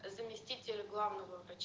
заместитель главного врача